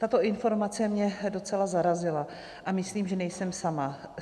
Tato informace mě docela zarazila a myslím, že nejsem sama.